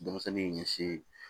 Denmisɛnnin ɲɛsi